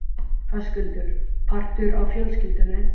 Höskuldur: Partur af fjölskyldunni?